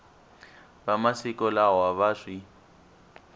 va masiku lawa va swi